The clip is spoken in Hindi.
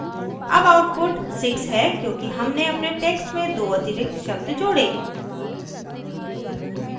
अब output 6 है क्योंकि हमने अपने text में दो अतिरिक्त शब्द जोड़े